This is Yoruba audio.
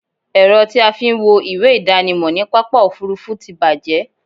Ẹ̀rọ tí a fí ń wo ìwé ìdánimọ̀ ní pápá òfurufú ti bàjẹ́